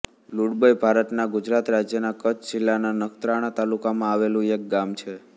લુડબય ભારતના ગુજરાત રાજ્યના કચ્છ જિલ્લાના નખત્રાણા તાલુકામાં આવેલું એક ગામ છે